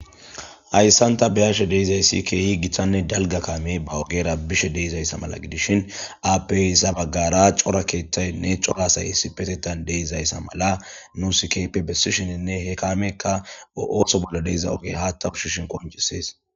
Hayssanta beyashe deizayssi keehi githanne dalga kaame ba wogeera bishe deizayssa mala gidishin aapeisa baggara cora keethtaynne cora sayhissi petettan deizayssa mala nusikape bessishininne he kaamekka ooththo bolla deiza ogey haattawushishin qoncisees.